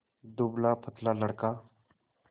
दुबलापतला लड़का